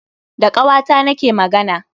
Da ƙawata na ke magana